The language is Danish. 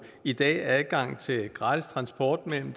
i dag har adgang til gratis transport mellem